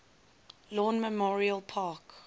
lawn memorial park